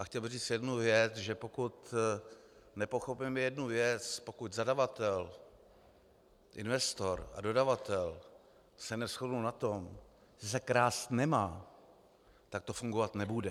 A chtěl bych říct jednu věc - že pokud nepochopíme jednu věc, pokud zadavatel, investor a dodavatel se neshodnou na tom, že se krást nemá, tak to fungovat nebude.